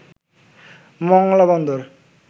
Mongla Bandar